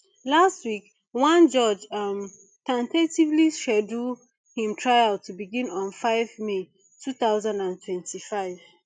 last week one judge um ten tatively schedule im trial to begin on five may two thousand and twenty-five